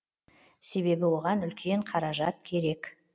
себебі оған үлкен қаражат керек